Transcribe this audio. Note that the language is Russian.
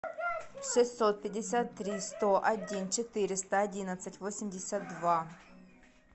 шестьсот пятьдесят три сто один четыреста одиннадцать восемьдесят два